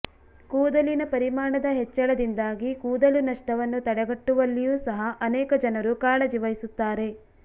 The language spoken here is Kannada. ಕೂದಲಿನ ಪರಿಮಾಣದ ಹೆಚ್ಚಳದಿಂದಾಗಿ ಕೂದಲು ನಷ್ಟವನ್ನು ತಡೆಗಟ್ಟುವಲ್ಲಿಯೂ ಸಹ ಅನೇಕ ಜನರು ಕಾಳಜಿ ವಹಿಸುತ್ತಾರೆ